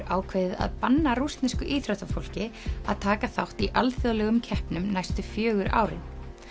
ákveðið að banna rússnesku íþróttafólki að taka þátt í alþjóðlegum keppnum næstu fjögur árin